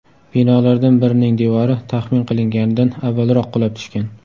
Binolardan birining devori taxmin qilinganidan avvalroq qulab tushgan.